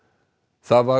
það var